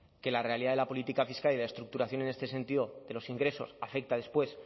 que la realidad de la política fiscal y la estructuración en este sentido de los ingresos afecta después